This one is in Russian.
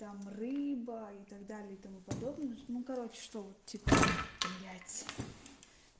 там рыба и так далее и тому подобное ну короче что вот типа блять